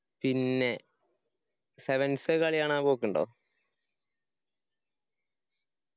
പിന്നെ sevens കളി കാണാൻ പോക്കിണ്ടോ?